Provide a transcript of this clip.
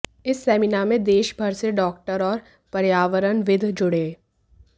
इस सेमिनार में देश भर से डॉक्टर और पर्यावरणविद जुड़े